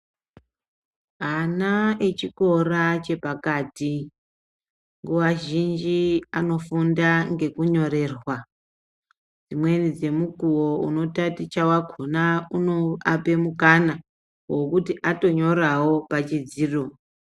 Ana echikora chepakati nguwa zhinji anofunda ngekunyorerwa imweni dzemukuwo unotaticha wakona unoape mukana wekuti atonyorawo pachidziro.